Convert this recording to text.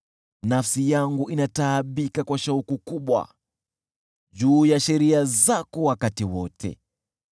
Nafsi yangu inataabika kwa shauku kubwa juu ya sheria zako wakati wote.